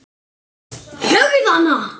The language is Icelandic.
Höggðu hann!